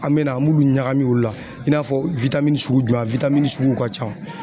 An mɛna an m'olu ɲagami olu la i n'a fɔ sugu jumɛn a suguw ka ca.